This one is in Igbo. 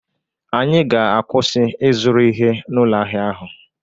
Anyị ga-akwụsị ịzụrụ ihe n'ụlọ ahịa ahụ